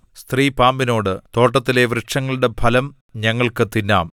സ്ത്രീ പാമ്പിനോട് തോട്ടത്തിലെ വൃക്ഷങ്ങളുടെ ഫലം ഞങ്ങൾക്കു തിന്നാം